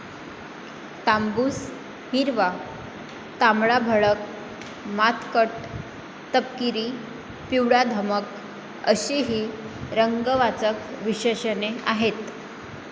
तांबूस, हिरवा, तांबडाभडक, मातकट, तपकिरी, पिवळाधमक अशी ही रंगवाचक विशेषणे आहेत.